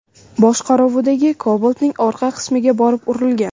boshqaruvidagi Cobalt’ning orqa qismiga borib urilgan.